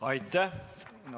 Aitäh!